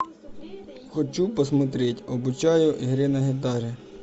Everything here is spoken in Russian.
хочу посмотреть обучаю игре на гитаре